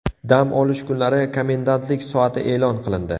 Dam olish kunlari komendantlik soati e’lon qilindi.